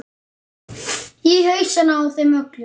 Í hausana á þeim öllum.